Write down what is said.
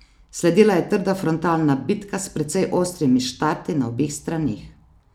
Sledila je trda frontalna bitka s precej ostrimi štarti na obeh straneh.